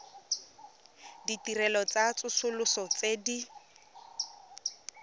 ditirelo tsa tsosoloso tse di